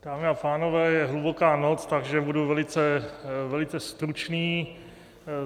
Dámy a pánové, je hluboká noc, takže budu velice, velice stručný.